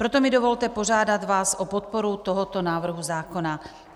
Proto mi dovolte požádat vás o podporu tohoto návrhu zákona.